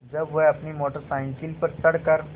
जब वह अपनी मोटर साइकिल पर चढ़ कर